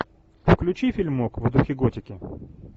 включи фильмок в духе готики